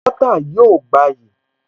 Bọ́ọ́tà yóò gbayì